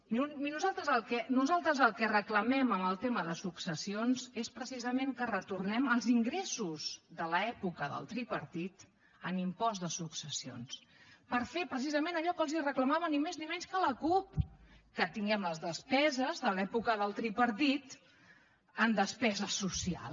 miri nosaltres el que reclamem en el tema de successions és precisament que retornem els ingressos de l’època del tripartit en impost de successions per fer precisament allò que els reclamava ni més ni menys que la cup que tinguem les despeses de l’època del tripartit en despesa social